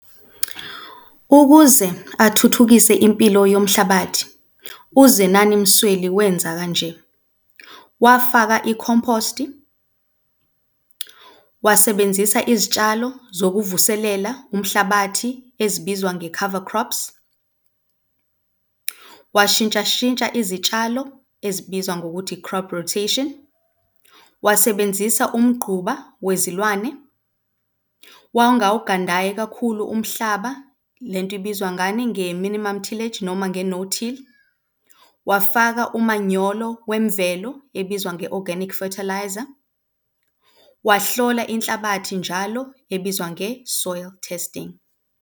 Ukuze athuthukise impilo yomhlabathi uZenani Msweli, wenza kanje, wafaka ikhomposti, wasebenzisa izitshalo zokuvuselela umhlabathi ezibizwa nge-cover crops, washintshashintsha izitshalo ezibizwa ngokuthi i-crop rotation, wasebenzisa umgquba wezilwane wangawugandayi kakhulu umhlaba le nto ibizwa ngani? Nge-minimum tillage noma nge-no till, wafaka umanyolo wemvelo ebizwa nge-organic fertiliser, wahlola inhlabathi njalo ebizwa nge-soil testing.